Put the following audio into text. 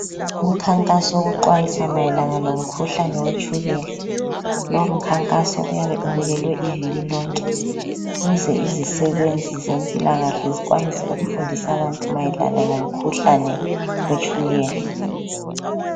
Umkhankaso wokuxwayisa mayelana lomkhuhlane wetshukela. Lo mkhankaso uyabe ubekelwe iviki lonke ukuze izisebenzi zempilakahle zikwanise ukufundisa abantu mayelana ngomkhuhlane wetshukela.